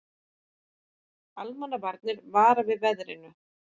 Almannavarnir vara við veðrinu